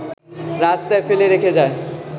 রাস্তায় ফেলে রেখে যায়